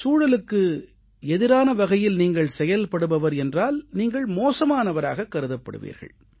சூழலுக்கு எதிரான வகையில் நீங்கள் செயல்படுபவர் என்றால் நீங்கள் மோசமானவராகக் கருதப்படுவீர்கள்